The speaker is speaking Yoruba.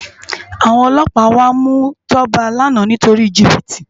Awòn òlòpá wá mú Toba làná nitóri jibiti